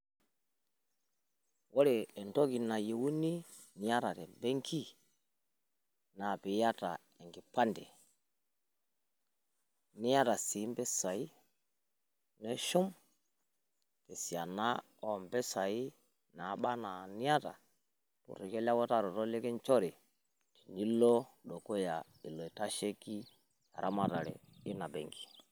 Woore entoki nayieuni niata tembenki naa piata enkipande, niata sii mpisai, nishum esiana oompisai nabaana eniata wewutaroto nikinjori niilo dukuya ilo oitasheiki eramatare ina benki